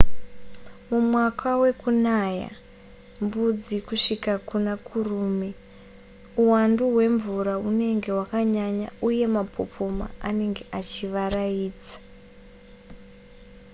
mumwaka wekunaya mbudzi kusvika muna kurume uwandu hwemvura hunenge hwakanyanya uye mapopoma anenge achivaraidza